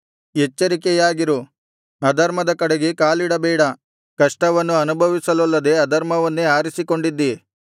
ಎಚ್ಚರಿಕೆಯಾಗಿರು ಅಧರ್ಮದ ಕಡೆಗೆ ಕಾಲಿಡಬೇಡ ಕಷ್ಟವನ್ನು ಅನುಭವಿಸಲೊಲ್ಲದೆ ಅಧರ್ಮವನ್ನೇ ಆರಿಸಿಕೊಂಡಿದ್ದಿ